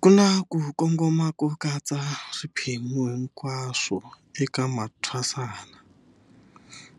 Ku na ku kongoma ko katsa swiphemu hinkwaswo eka mathwasana,